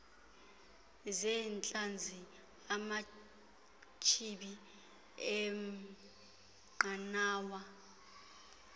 zeentlanzi amachibi eenqanawa